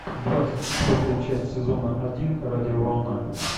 двадцать четвертая часть сезона один радиоволна